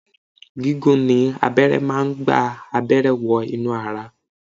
Gigun ni ni abẹ́rẹ́ máa ń gba abẹ́rẹ́ wọ inú ara